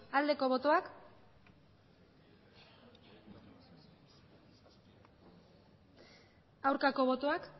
aldeko botoak aurkako botoak